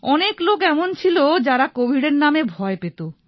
অনেক লোক এমন ছিল যাঁরা কোভিডের নামে ভয় পেত